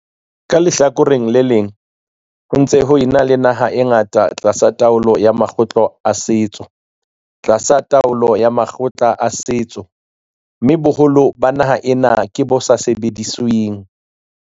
Ka lehlakoreng le leng, ho ntse ho na le naha e ngata tlasa taolo ya makgotla a setso, tlasa taolo ya makgotla a setso, mme boholo ba naha ena ke bo sa sebedisweng.